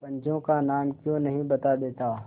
पंचों का नाम क्यों नहीं बता देता